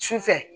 Sufɛ